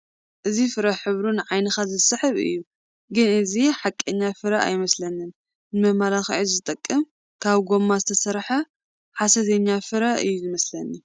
እዚ ፍረ ሕብሩ ንዓይንኻ ዝስሕብ እዩ፡፡ ግን እዚ ሓቀኛ ፍረ ኣይመስለንን ንመመላክዒ ዝጠቕም ካብ ጐማ ዝተሰርሐ ሓሰተኛ ፍረ እዩ ዝመስለኒ፡፡